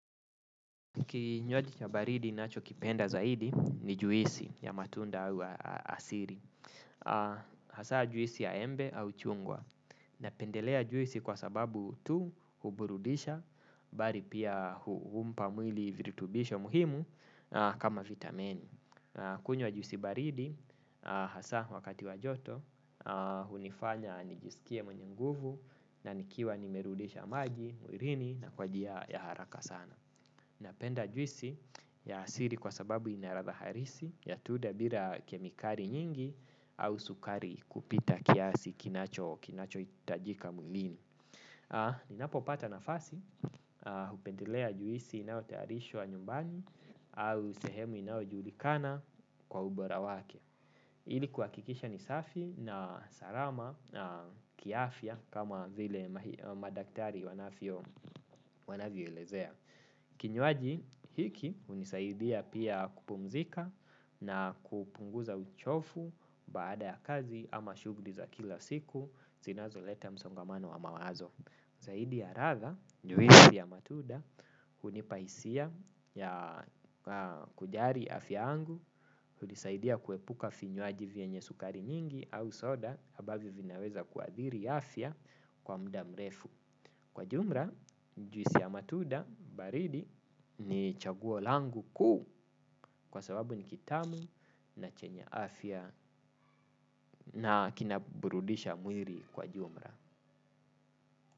Kinywaji cha baridi nachokipenda zaidi ni juisi ya matunda wa asiri. Hasa juisi ya embe au chungwa. Napendelea juisi kwa sababu tu huburudisha, bari pia humpa mwili virutubisho muhimu kama vitameni. Kunywa juisi baridi, hasa wakati wa joto, unifanya nijisikie mwenye nguvu na nikiwa nimerudisha maji, mwirini na kwa jia ya haraka sana. Napenda juisi ya asiri kwa sababu ina ratha harisi ya tuda bira kemikari nyingi au sukari kupita kiasi kinachoitajika mwilini. Ninapopata nafasi, hupendelea juisi inayotayarishwa nyumbani au sehemu inaojulikana kwa ubora wake. Ili kuakikisha ni safi na sarama kiafya kama vile madaktari wanavyoelezea. Kinywaji hiki unisaidia pia kupumzika na kupunguza uchofu baada ya kazi ama shugli za kila siku zinazoleta msongamano wa mawazo zaidi ya ratha juisi ya matuda hunipa isia ya kujari afya yangu. Unisaidia kuepuka finywaji vyenye sukari nyingi au soda abavyo vinaweza kuadhiri afya kwa mda mrefu. Kwa jumra juisi ya matuda baridi ni chaguo langu kuu kwa sababu ni kitamu na chenye afya na kinaburudisha mwiri kwa jumra.